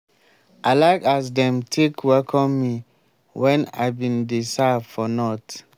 i like as dem take welcome me wen i bin dey serve for north.